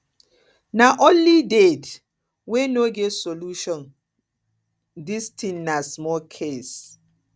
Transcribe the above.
na only dead wey no get solution this thing na small case